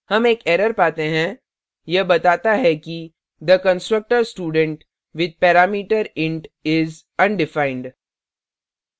हम एक error पाते हैं यह बताता है कि the constructor student with parameter int is undefined